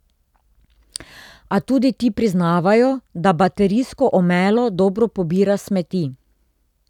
A tudi ti priznavajo, da baterijsko omelo dobro pobira smeti.